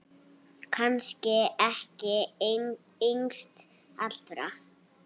Kannski ekki yngst allra.